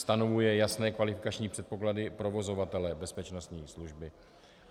Stanovuje jasné kvalifikační předpoklady provozovatele bezpečnostní služby.